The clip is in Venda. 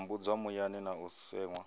tambudzwa muyani na u seṅwa